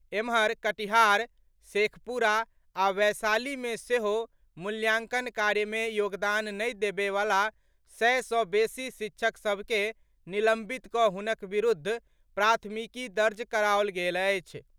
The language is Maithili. एम्हर, कटिहार, शेखपुरा आ वैशाली मे सेहो मूल्यांकन कार्य मे योगदान नहि देबए वला सय सॅ बेसी शिक्षक सभ के निलंबित कऽ हुनक विरूद्ध प्राथमिकी दर्ज कराओल गेल अछि।